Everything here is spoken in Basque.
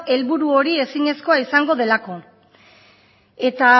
helburu hori ezinezkoa izango delako eta